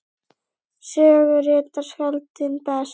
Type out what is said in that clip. Sögu rita skáldin best.